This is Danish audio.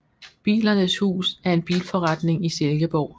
Bilernes Hus er en bilforretning i Silkeborg